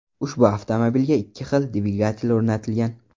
Ushbu avtomobilga ikki xil dvigatel o‘rnatilgan.